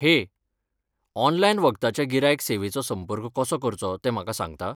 हे, ऑनलायन वखदाच्या गिरायक सेवेचो संपर्क कसो करचो तें म्हाका सांगता?